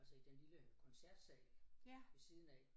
Altså i den lille koncertsal ved siden af